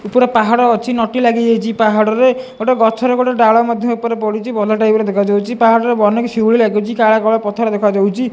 ଉପରେ ପାହାଡ ଅଛି ନଟି ଲାଗିଯାଇଚି ପାହାଡ ରେ ଗୋଟେ ଗଛ ରେ ଗୋଟେ ଡାଳ ମଧ୍ୟ ଉପରେ ପଡିଚି ଭଲ ଟାଇପ୍ ର ଦେଖା ଯାଉଚି ପାହାଡ ରେ ଅନେକ ଶିଉଳି ଲାଗିଚି କାଳିଆ କାଳିଆ ପଥର ଦେଖା ଯାଉଚି।